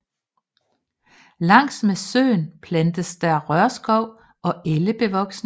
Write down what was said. Langs med søen plantes der rørskov og ellebevoksning